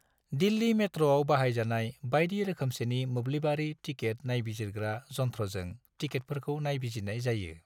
दिल्ली मेट्र'आव बाहायजानाय बायदि रोखोमसेनि मोब्लिबारि टिकेट नायबिजिरग्रा जनथ्र'जों टिकेटफोरखौ नायबिजिरनाय जायो।